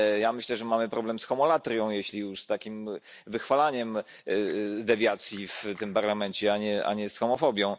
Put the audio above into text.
Myślę, że mamy problem z homolatrią, jeśli już z takim wychwalaniem dewiacji w tym Parlamencie, a nie z homofobią.